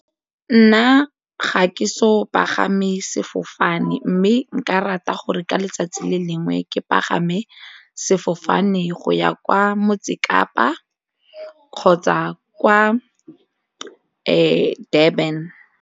Nna ga ke so pagame sefofane mme nka rata gore ka letsatsi le lengwe ke pagame sefofane go ya kwa Motse Kapa kgotsa kwa Durban.